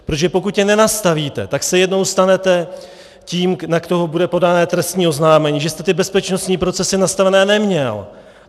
Protože pokud je nenastavíte, tak se jednou stanete tím, na koho bude podané trestní oznámení, že jste ty bezpečností procesy nastavené neměl.